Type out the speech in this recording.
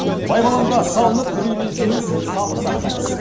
байбаламға салынып үрейленсеңіз сабыр сақтаңыз